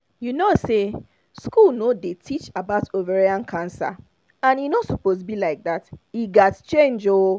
you know say school no dey teach about ovarian cancer and e no suppose be like that e gat change ooo